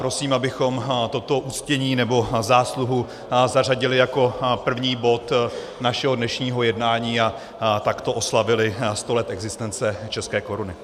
Prosím, abychom toto uctění nebo zásluhu zařadili jako první bod našeho dnešního jednání a takto oslavili sto let existence české koruny.